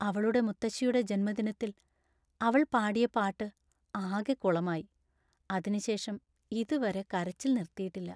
അവളുടെ മുത്തശ്ശിയുടെ ജന്മദിനത്തിൽ അവൾ പാടിയ പാട്ട് ആകെ കുളമായി; അതിനുശേഷം ഇതുവരെ കരച്ചിൽ നിർത്തിയിട്ടില്ല.